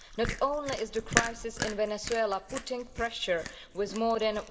Not only is the crisis in Venezuela exerting pressure, with more than